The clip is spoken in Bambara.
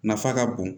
Nafa ka bon